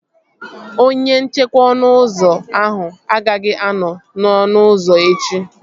Onye nchekwa ọnụ ụzọ ahụ agaghị anọ n'ọnụ ụzọ echi